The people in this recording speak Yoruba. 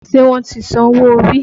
Ṣé wọ́n ti san owó orí?